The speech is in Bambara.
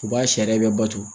U b'a sariya bɛ bato.